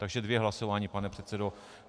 Takže dvě hlasování, pane předsedo.